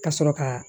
Ka sɔrɔ ka